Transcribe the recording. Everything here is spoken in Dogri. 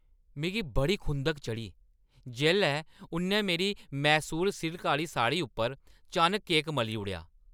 मिगी बड़ी खुंधक चढ़ी जेल्लै उ'न्नै मेरी मैसूर सिल्का आह्‌ली साड़ी उप्पर चानक केक मली ओड़ेआ।